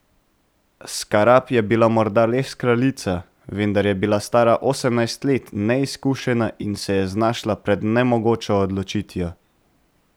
Skarab je bila morda res kraljica, vendar je bila stara osemnajst let, neizkušena in se je znašla pred nemogočo odločitvijo.